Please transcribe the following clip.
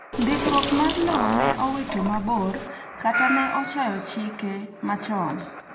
ndikruok mar lowo ne owito mabor kata ne ochayo chike machon